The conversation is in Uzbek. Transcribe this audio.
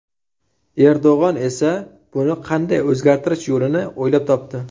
Erdo‘g‘on esa buni qanday o‘zgartirish yo‘lini o‘ylab topdi.